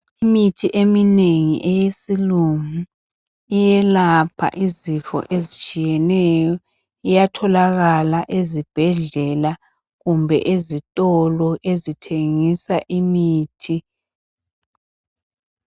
Imithi eminengi eyesilungu iyelapha izifo ezitshiyeneyo. Iyatholakala ezibhedlela kumbe ezitolo ezithengisa imithi.